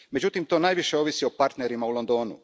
Međutim, to najviše ovisi o partnerima u Londonu.